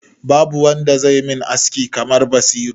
Babu wanda zai min aski kamar Basiru.